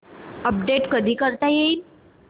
update कधी करता येईल